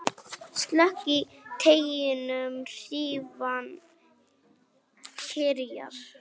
Slök í teignum hrífan kyrjar.